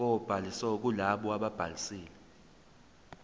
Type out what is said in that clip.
kobhaliso kulabo ababhalisile